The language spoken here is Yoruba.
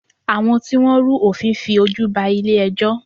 Àwọn tí Wọ́n rú òfin fi ojú ba ilé ẹjọ́.